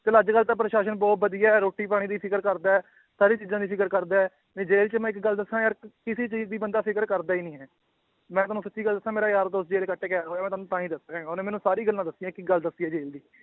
ਚੱਲ ਅੱਜ ਕੱਲ੍ਹ ਤਾਂ ਪ੍ਰਸਾਸ਼ਨ ਬਹੁਤ ਵਧੀਆ ਹੈ ਰੋਟੀ ਪਾਣੀ ਦੀ ਫ਼ਿਕਰ ਕਰਦਾ ਹੈ, ਸਾਰੀ ਚੀਜ਼ਾਂ ਦੀ ਫ਼ਿਕਰ ਕਰਦਾ ਹੈ ਨਹੀਂ ਜੇਲ੍ਹ 'ਚ ਮੈਂ ਇੱਕ ਗੱਲ ਦੱਸਾਂ ਯਾਰ ਕਿਸੇ ਚੀਜ਼ ਦੀ ਬੰਦਾ ਫ਼ਿਕਰ ਕਰਦਾ ਹੀ ਨੀ ਹੈ, ਮੈਂ ਤੁਹਾਨੂੰ ਸੱਚੀ ਗੱਲ ਦੱਸਾਂ ਮੇਰਾ ਯਾਰ ਦੋਸਤ ਜੇਲ੍ਹ 'ਚ ਕੱਟ ਕੇ ਆਇਆ ਹੋਇਆ ਤੁਹਾਨੂੰ ਤਾਂਹੀ ਦੱਸ ਰਿਹਾਂ, ਉਹਨੇ ਮੈਨੂੰ ਸਾਰੀ ਗੱਲਾਂ ਦੱਸੀਆਂ ਇੱਕ ਇੱਕ ਗੱਲ ਦੱਸੀ ਹੈ ਜੇਲ੍ਹ ਦੀ